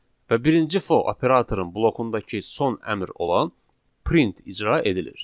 Və birinci for operatorun blokundakı son əmr olan print icra edilir.